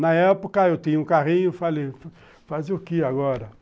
Na época, eu tinha um carrinho, falei, fazer o queê agora?